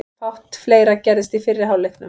Fátt fleira gerðist í fyrri hálfleiknum.